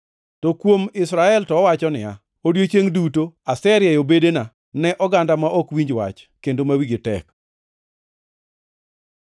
To kuom Israel to owacho niya, “Odiechiengʼ duto aserieyo bedena ne oganda ma ok winj wach kendo ma wigi tek.” + 10:21 \+xt Isa 65:2\+xt*